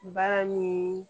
Baara ni